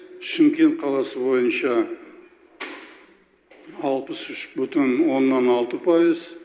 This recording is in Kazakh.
шымкент қаласы бойынша алпыс үш бүтін оннан алты пайыз